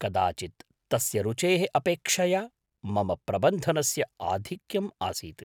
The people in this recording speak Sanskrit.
कदाचित् तस्य रुचेः अपेक्षया मम प्रबन्धनस्य आधिक्यम् आसीत्।